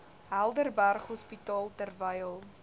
helderberg hospitaal terwyl